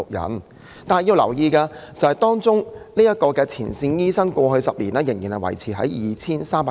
不過，大家要留意，前線醫生的數目過去10年依然維持在 2,300 人。